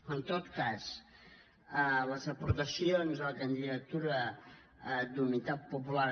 en tot cas les aportacions de la candidatura d’unitat popular